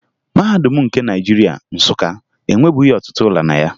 Mahadum nke Naịjirịa, Nsụka, enwebughi ọtụtụ ụlọ na ya